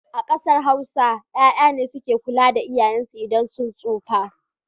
A ƙasar Hausa 'ya'ya ne suke kula da iyayensu idan sun tsufa.